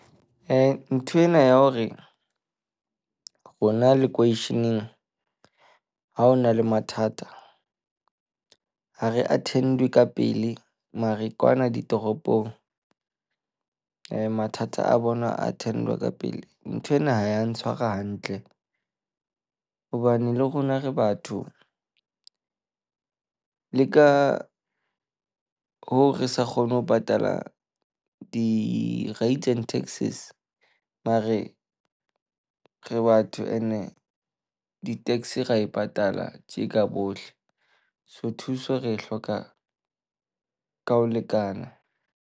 Nthwena ya hore rona ha ho na le mathata ha re attend-we ka pele. Mare kwana ditoropong mathata a bona attend-wa ka pele. Nthwena ha ya ntshwara hantle hobane le rona re batho. Le ka hoo re sa kgone ho patala di-rates and taxes mare re batho and-e di-tax ra e patala tje ka bohle. So thuso re e hloka ka ho lekana.